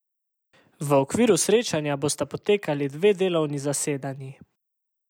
V okviru srečanja bosta potekali dve delovni zasedanji.